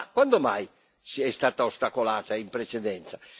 Ma quando mai è stata ostacolata in precedenza?